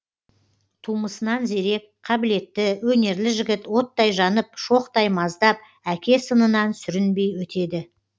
тумысынан зерек қабілетті өнерлі жігіт оттай жанып шоқтай маздап әке сынынан сүрінбей өтеді